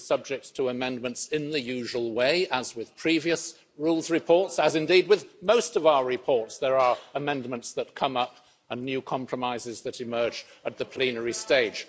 It is subject to amendments in the usual way, as with previous rules reports, as indeed with most of our reports, there are amendments that come up and new compromises that emerge at the plenary stage.